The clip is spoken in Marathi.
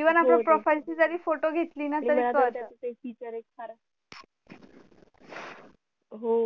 even आपण profile ची जरी photo घेतली ना तरी हो